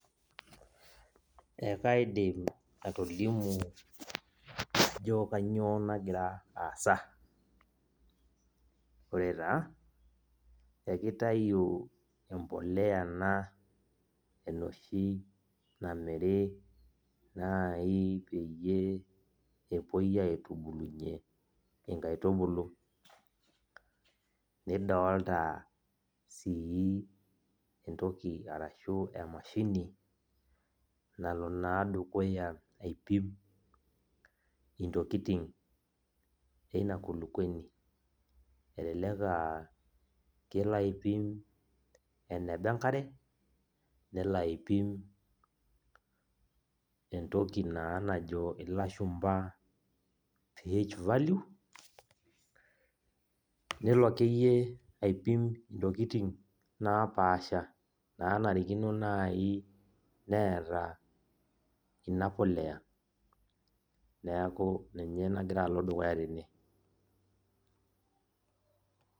E kaidim atolimu ajo kanyio nagira aasa, ore taa akitau embolea ena enoshi namiri nai peyie epoi aitubulunye enkaitubulu nidolta si entoki ashu emashini nalo na dukuya aipim ntokitin inakulukuoni elelek aa kelo aipim enaba enkare nelaipim entoki na najo lashumba ph value napaasha nanarikino nai naata inapolea neaku ninye nagira aendelea tene.